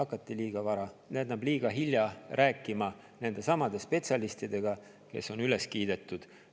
Aga hakati liiga hilja rääkima nendesamade spetsialistidega, kes on üles kiidetud.